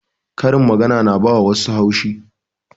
Karin magana na ba wa wassu haushi